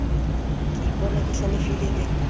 ke ipona ke hlalefile ke